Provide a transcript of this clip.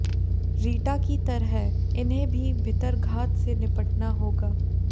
रीटा की तरह इन्हें भी भितरघात से निपटना होगा